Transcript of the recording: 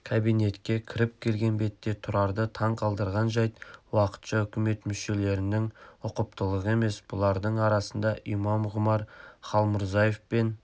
кабинетке кіріп келген бетте тұрарды таңқалдырған жайт уақытша үкімет мүшелерінің ұқыптылығы емес бұлардың арасында имам ғұмар халмұрзаев пен